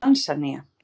Tansanía